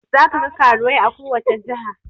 Za kagan karuwai a kowace jiha